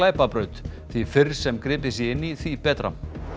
glæpabraut því fyrr sem gripið sé inn í því betra